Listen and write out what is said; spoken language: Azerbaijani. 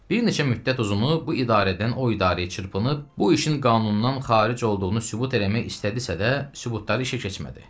Bir neçə müddət uzunu bu idarədən o idarəyə çırpınıb, bu işin qanundan xaric olduğunu sübut eləmək istədisə də, sübutları işə keçmədi.